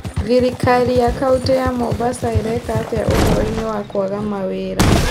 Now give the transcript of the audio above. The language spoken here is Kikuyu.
Thirikari ya kaunti ya Mombasa ĩreeka atĩa ũhoro-inĩ wa kwaga mawĩra